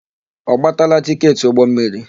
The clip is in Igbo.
Ọ gbatala tịketị ụgbọmmiri?